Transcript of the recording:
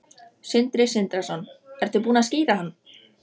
Sindri Sindrason: Ertu búin að skíra hann?